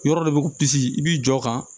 Yɔrɔ dɔ bɛ i b'i jɔ kan